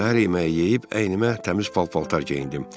Səhər yeməyi yeyib əynimə təmiz pal-paltar geyindim.